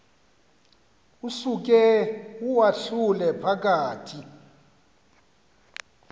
usuke uwahlule phakathi